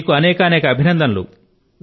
మీకు అనేకానేక అభినందనలు